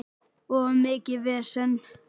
Of mikið vesen.